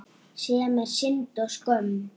Sem er synd og skömm.